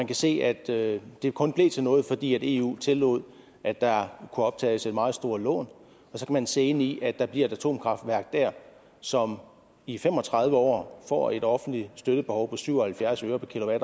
kan se at det det kun blev til noget fordi eu tillod at der kunne optages et meget stort lån så kan man se ind i at der bliver et atomkraftværk der som i fem og tredive år får et offentligt støttebehov på syv og halvfjerds øre per